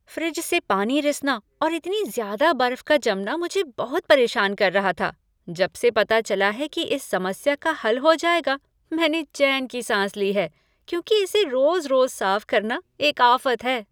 Fridge से पानी रिसना और इतनी ज़्यादा बर्फ़ का जमना मुझे बहुत परेशान कर रहा था। जबसे पता चला है कि इस समस्या का हल हो जाएगा, मैंने चैन की साँस ली है क्योंकि इसे रोज़ रोज़ साफ़ करना एक आफ़त है।